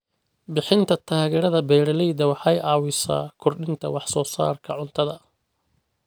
Bixinta taageerada beeralayda waxay caawisaa kordhinta wax soo saarka cuntada.